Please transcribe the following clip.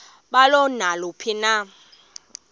balo naluphi na